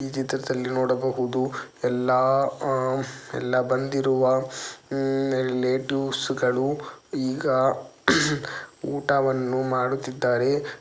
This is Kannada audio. ಈ ಚಿತ್ರದಲ್ಲಿ ನೋಡಬಹುದು ಎಲ್ಲಾ ಹಮ್ ಎಲ್ಲ ಬಂದಿರುವ ಉಮ್ ರಿಲೇಟಿವ್ಸ್ ಗಳು ಈಗ ಊಟವನ್ನು ಮಾಡುತ್ತಿದ್ದಾರೆ.